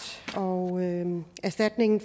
og erstatning